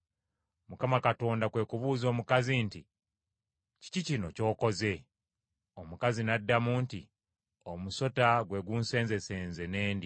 Mukama Katonda kwe kubuuza omukazi nti, “Kiki kino ky’okoze?” Omukazi n’addamu nti, “Omusota gwe gunsenzesenze ne ndya.”